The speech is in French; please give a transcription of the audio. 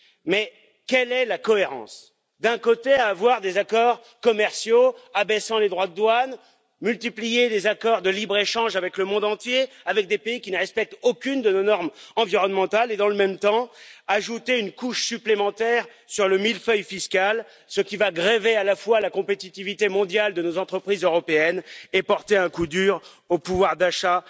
Mais quelle est la cohérence, d'un côté, à avoir des accords commerciaux abaissant les droits de douane, à multiplier les accords de libre échange avec le monde entier avec des pays qui ne respectent aucune de nos normes environnementales et, dans le même temps, à ajouter une couche supplémentaire sur le millefeuille fiscal, ce qui va grever à la fois la compétitivité mondiale de nos entreprises européennes et porter un coup dur au pouvoir d'achat